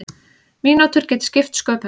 Mínútur geti skipt sköpum.